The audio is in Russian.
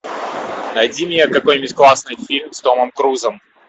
найди мне какой нибудь классный фильм с томом крузом